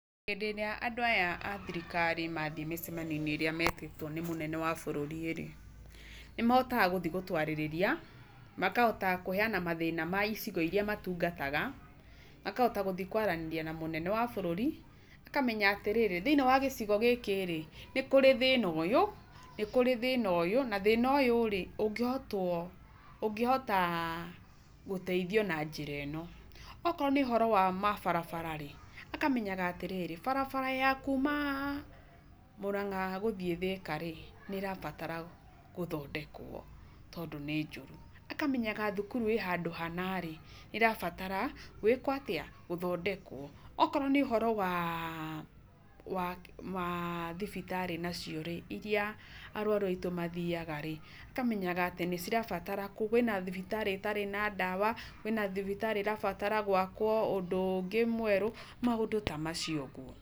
Hĩndĩ ĩrĩa andũ aya a thirikari mathiĩ mĩcemanio-inĩ ĩrĩa metĩtwo nĩ mũnene wa bũrũri rĩ, nĩmahotaga gũthiĩ gũtwarĩrĩria, makahota kũheyana mathĩna maicigo iria matungataga, makahota gũthiĩ kwaranĩria na mũnene wa bũrũri, makamenya atĩrĩrĩ, thĩinĩ wa gĩcigo gĩkĩrĩ, nĩkũrĩ thĩna ũyũ, nĩkũrĩ thĩna ũyũ, na ũyũ ũngĩhotwo, ũngĩhota gũteithio na njĩra ĩno. Okorwo nĩ ũhota wa mabarabara rĩ, akamenya atĩrĩrĩ, barabara ya kuuma Mũrang'a gũthiĩ Thĩka rĩ, nĩ ĩrabatara gũthondekwo, tondũ nĩnjũru. Akamenyaga thukuru ĩhana rĩ, nĩ ũrabatara gũĩkuo atĩa ? Gũthondekwo. Okorwo nĩ ũhoro wa thibitarĩ nacio rĩ, iria arwaru aitũ mathiaga rĩ, akamenyaga kwĩna thibitarĩ ĩtarĩ na ndawa, kwĩna thibitarĩ ĩrabatara gwakwo, ũndũ ũngĩ mwerũ, maũndũ tamacio ũguo.